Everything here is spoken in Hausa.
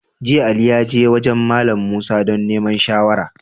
Jiya, Ali ya je wajen Mallam Musa don neman shawara.